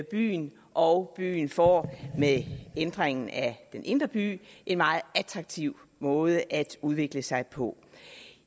byen og byen får med ændringen af den indre by en meget attraktiv måde at udvikle sig på